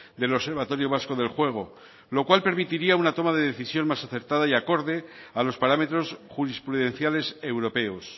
del observatorio vasco del juego lo cual permitiría una toma de decisión más acertada y acorde a los parámetros jurisprudenciales europeos